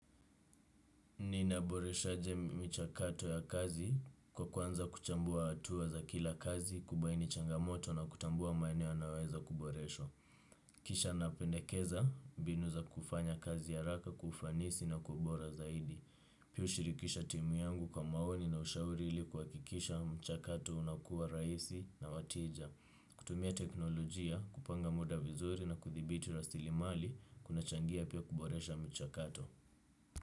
Ninaboreshaje michakato ya kazi kwa kuanza kuchambua hatua za kila kazi, kubaini changamoto na kutambua maeneo yanayoweza kuboreshwa. Kisha napendekeza mbinu za kufanya kazi haraka kwa ufanisi na kwa ubora zaidi. Pia hushirikisha timu yangu kwa maoni na ushauri ili kuhakikisha mchakato unakuwa rahisi na wa tija. Kutumia teknolojia kupanga muda vizuri na kuthibiti rasilimali kunachangia pia kuboresha mchakato.